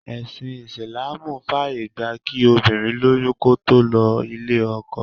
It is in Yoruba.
Ẹsin Isilaamu fàyè gba kí obìnrin lóyún kó tó lọ ilé-ọkọ.